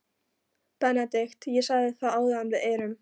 BENEDIKT: Ég sagði það áðan: Við erum.